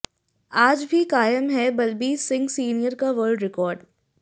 आज भी कायम है बलबीर सिंह सीनियर का वर्ल्ड रिकॉर्ड